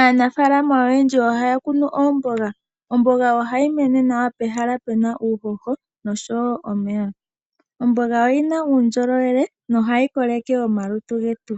Aanafaalama oyendji ohaya kunu oomboga, omboga ohayi mene nawa pehala puna uuhoho noshowo omeya. Omboga oyina uundjolowele nohayi koleke omalutu getu.